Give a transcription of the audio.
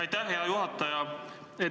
Aitäh, hea juhataja!